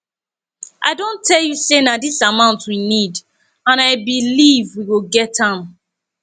i don tell you say na dis amount we need and i believe we go get am